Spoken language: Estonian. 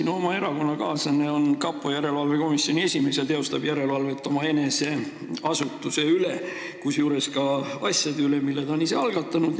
Sinu oma erakonnakaaslane on kapo järelevalve komisjoni esimees ja teostab järelevalvet omaenese asutuse üle, sh asjade üle, mis ta on ise algatanud.